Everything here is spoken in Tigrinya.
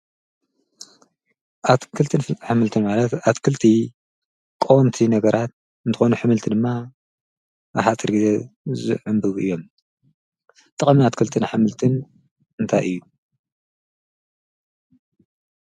ኣትክልትን ኃምልቲ ማለት ኣትክልቲ ቆንቲ ነገራት እንተኾኑ ሕምልቲ ድማ ኣሓትሪ ጊዘ ዘዕምብጉ እዮም ጠሚን ኣትክልትን ኃምልትን እንታይ እዩ